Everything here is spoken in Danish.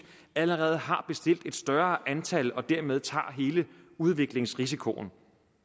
allerede har bestilt et større antal og dermed tager hele udviklingsrisikoen